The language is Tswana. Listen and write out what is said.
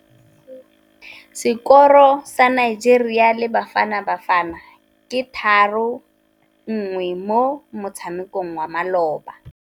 Sekôrô sa Nigeria le Bafanabafana ke 3-1 mo motshamekong wa malôba.